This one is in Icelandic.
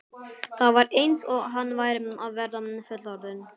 Það var eins og hann væri að verða fullorðinn.